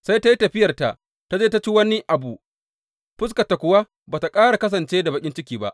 Sai ta yi tafiyarta ta je ta ci wani abu, fuskarta kuwa ba tă ƙara kasance da baƙin ciki ba.